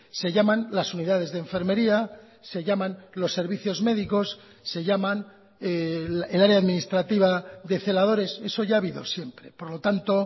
se llaman las unidades de enfermería se llaman los servicios médicos se llaman el área administrativa de celadores eso ya ha habido siempre por lo tanto